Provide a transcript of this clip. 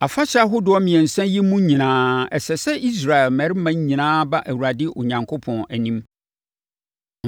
“Afahyɛ ahodoɔ mmiɛnsa yi mu nyinaa, ɛsɛ sɛ Israel mmarima nyinaa ba Awurade Onyankopɔn anim.